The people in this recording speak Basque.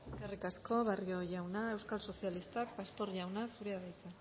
eskerrik asko barrio jauna euskal sozialistak pastor jauna zurea da hitza